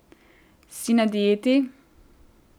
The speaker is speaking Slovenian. Si na dieti?